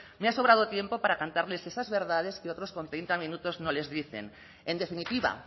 me ha sobrado tiempo para cantarles esas verdades que otros con treinta minutos no les dicen en definitiva